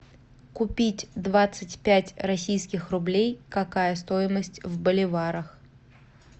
купить двадцать пять российских рублей какая стоимость в боливарах